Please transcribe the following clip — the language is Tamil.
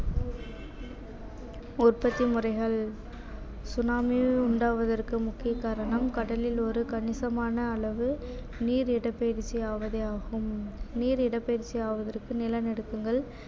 உற்பத்தி முறைகள் சுனாமி உண்டாவதற்கு முக்கிய காரணம் கடலில் ஒரு கணிசமான அளவு நீர் இடப்பெயர்ச்சி ஆவதே ஆகும் நீர் இடப்பெயர்ச்சி ஆவதற்கு நிலநடுக்கங்கள்